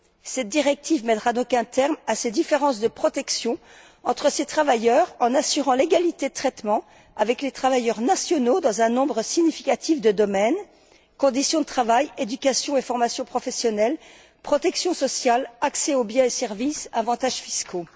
Cette directive mettra donc un terme à ces différences de protection entre ces travailleurs en assurant l'égalité de traitement avec les travailleurs nationaux dans un nombre significatif de domaines conditions de travail, éducation et formation professionnelle, protection sociale, accès aux biens et services, avantages fiscaux.